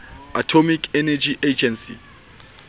atomic energy agency